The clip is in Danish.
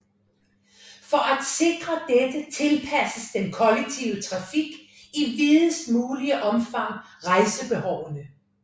For at sikre dette tilpasses den kollektive trafik i videst mulig omfang rejsebehovene